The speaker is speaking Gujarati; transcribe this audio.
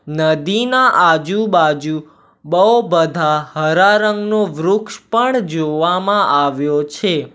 નદીના આજુબાજુ બો બધા હરા રંગનું વૃક્ષ પણ જોવામાં આવ્યો છે.